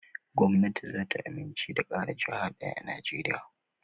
Gwamnati zata amince da ƙara jaha ɗaya a najeriya